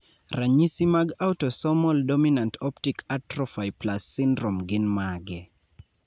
ranyisi mag Autosomal dominant optic atrophy plus syndrome gin mage?